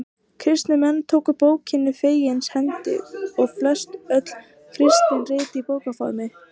Kristnir menn tóku bókinni fegins hendi og flest öll kristin rit voru í bókarformi.